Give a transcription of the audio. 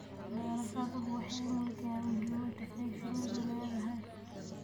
Daraasaduhu waxay muujinayaan muhiimadda ay shinnidu leedahay.